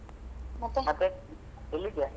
ಮತ್ತೇ ಎಲ್ಲಿದ್ಯಾ?